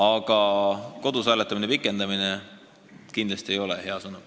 Aga kodus hääletamise pikendamine kindlasti ei ole hea mõte.